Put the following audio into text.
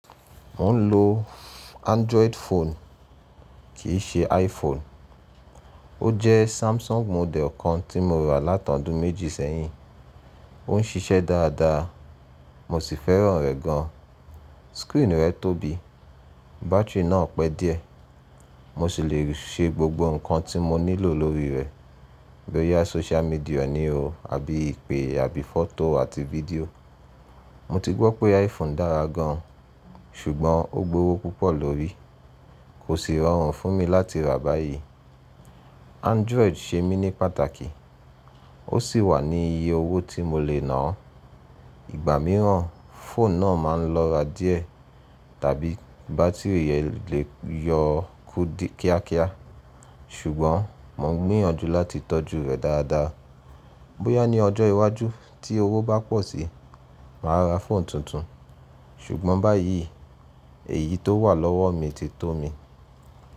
Mò ń lo Android phone kì í ṣe iPhone. Ó jẹ́ Samsung model kan tí mo rà látọdún méjì sẹ́yìn. Ó ń ṣiṣẹ́ dáadáa, mo sì fẹ́ràn rẹ̀ gan. Screen rẹ̀ tóbi, battery náà pẹ́ díẹ̀, mo sì le ṣe gbogbo nǹkan tí mo nílò lórí rẹ̀. Bóyá social media ni o, àbí ìpè, àbí photo àti video. Mo ti gbọ́ pé iPhone dára gan, ṣùgbọ́n ó gbówó púpọ̀ lórí, kò sì rọrùn fún mi láti rà báyìí. Android ṣe mí ní pàtàkì, ó sì wà ní iye owó tí mo lè ná. Ìgbà mìíràn phone náà máa ń lọ́ra díẹ̀ tàbí battery rẹ̀ le yọ kú kíákíá, ṣùgbọ́n mo ń gbìyànjú láti tọ́jú rẹ̀ dáadáa. Bóyá ní ọjọ́ iwájú tí owó bá pọ̀ síi, màá ra phone tuntun, ṣùgbọ́n báyìí èyí tó wà lọ́wọ́ mi ti tó mi.